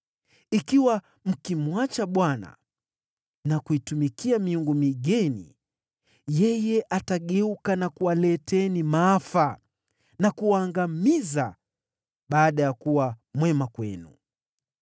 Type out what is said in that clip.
Ikiwa mkimwacha Bwana na kuitumikia miungu migeni, atageuka na kuwaleteeni maafa na kuwaangamiza, baada ya kuwa mwema kwenu.”